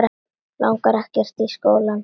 Langar ekkert í skóla.